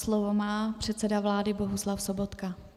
Slovo má předseda vlády Bohuslav Sobotka.